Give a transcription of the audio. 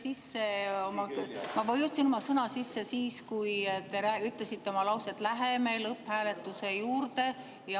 Jaa, ma vajutasin oma "Sõna" sisse siis, kui te ütlesite oma lause, et läheme lõpphääletuse juurde.